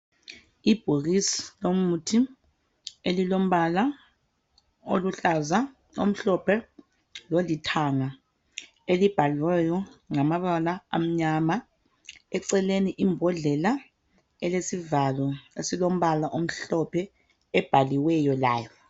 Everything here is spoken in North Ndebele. Ibhokisi lomuthi elilompala oluhlaza, omhlophe lolithanga elibhaliweyo ngamabala amnyama. Eceleni ibhodlela elesivalo esilompala omhlophe ebhaliweyo layo.